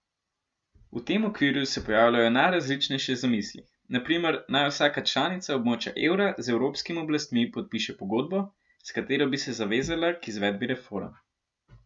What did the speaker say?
V tem okviru se pojavljajo najrazličnejše zamisli, na primer, naj vsaka članica območja evra z evropskimi oblastmi podpiše pogodbo, s katero bi se zavezala k izvedbi reform.